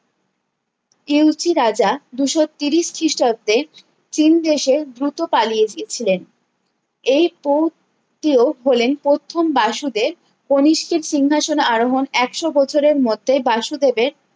Cu Chi রাজা দুশো তিরিশ খিষ্টাব্দে চীন দেশে দ্রুত পালিয়ে গিয়েছিলেন এই পপ তো হলেন প্রথম বাসুদের কনিষ্ঠ সিংহাসন আরোহন একশো বছরের মধ্যেই বাসু দেবের